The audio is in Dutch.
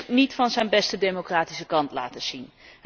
Morsi heeft zich niet van zijn beste democratische kant laten zien.